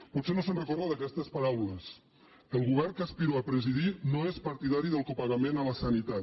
potser no se’n recorda d’aquestes paraules el govern que aspiro a presidir no és partidari del copagament a la sanitat